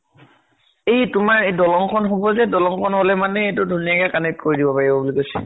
এই তোমাৰ এ দলং খন হব যে, দলং খন হলে মানে এইটো ধুনীয়াকে connect কৰি দিব পাৰিব বুলি কৈছে।